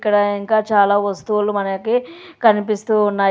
ఇక్కడ ఇంకా చాలా వస్తువులు మనకి కనిపిస్తూ ఉన్నాయి.